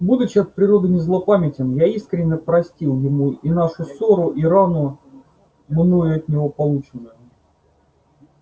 будучи от природы не злопамятен я искренно простил ему и нашу ссору и рану мною от него полученную